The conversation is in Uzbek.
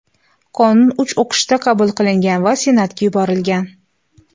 Qonun uch o‘qishda qabul qilingan va Senatga yuborilgan.